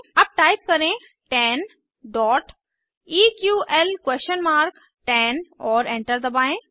अब टाइप करें 10 eql10 और एंटर दबाएं